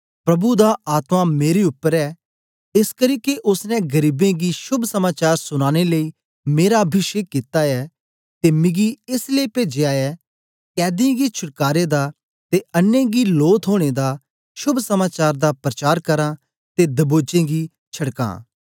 प्रभु दा आत्मा मेरे उपर ऐ एसकरी के ओसने गरीबें गी शोभ समाचार सुनाने लेई मेरा अभिषेक कित्ता ऐ ते मिगी एस लेई पेजा ऐ कैदीयें गी छटकारे दा ते अन्नें गी लो थोने दा शोभ समाचार दा प्रचार करां ते दबोचें गी छड़कां